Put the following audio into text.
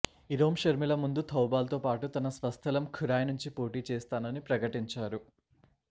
ఇరోం షర్మిల ముందు థౌబాల్ తో పాటు తన స్వస్థలం ఖురాయ్ నుంచి పోటీ చేస్తానని ప్రకటించారు